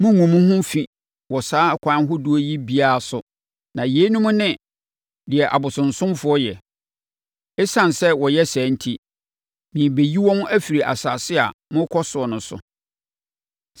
“ ‘Monngu mo ho fi wɔ saa akwan ahodoɔ yi biara so na yeinom ne deɛ abosonsomfoɔ yɛ. Esiane sɛ wɔyɛ saa enti, merebɛyi wɔn afiri asase a morekɔ so no so.